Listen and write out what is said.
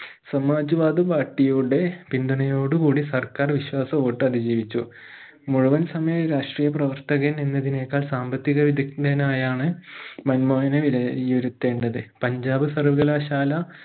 Samaj വാദ് party യുടെ പിന്തുണയോടു കൂടി സർക്കാർ വിശ്വാസ വോട്ട് അതിജീവിച്ചു മുഴുവൻ സമയം രാഷ്ട്രീയ പ്രവർത്തകൻ എന്നതിനേക്കാൾ സാമ്പത്തിക വിദഗ്ധനായാണ് മൻമോഹനെ വിലയിരുത്തേണ്ടത് പഞ്ചാബ് സർവകലാശാല